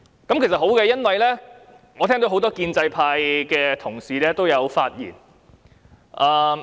這其實是好的，因為我聽到很多建制派同事也有發言。